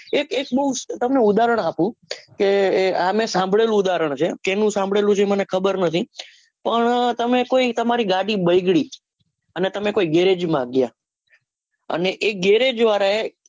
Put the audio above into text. એક એક તમને ઉદાહરણ આપું કે એ આમેં સાભળેલું ઉદાહરણ છે કેનું સાંભળેલું એમને ખબર નથી પણ તમે કોઈ તમારી ગાડી બઈગડી છે અને તમે કોઈ garage માં ગયા અને એ garage વારા એ